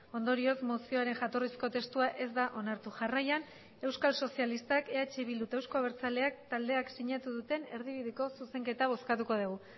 ondorioz mozioaren jatorrizko testua ez da onartu jarraian euskal sozialistak eh bildu eta euzko abertzaleak taldeak sinatu duten erdibideko zuzenketa bozkatuko dugu